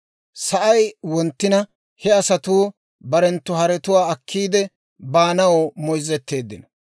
Sa'ay wonttina he asatuu barenttu haretuwaa akkiidde baanaw moyzzeteeddino.